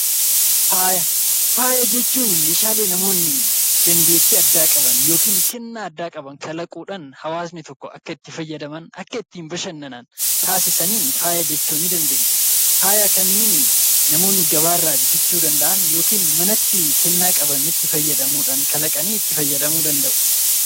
Faaya jechuun meeshaalee namoonni dandeettii addaa qaban yookaan kennaa addaa qaban kalaquudhaan hawaasni tokko akka itti fayyadaman itti bashannanan taasisaniin faaya jechuu ni dandeenya. Faaya kanneen namoonni gabaarraa bitachuu danda'an yookiin manatti kennaa qabanitti fayyadamuudhaan kalaqanii itti fayyadamuu danda'u.